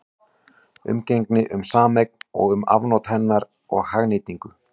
Umgengni um sameign og um afnot hennar og hagnýtingu.